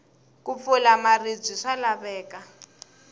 ku pfula maribye swa laveka